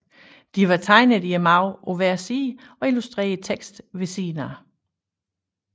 De var tegnet i margenen på hver side og illustrerede teksten ved siden af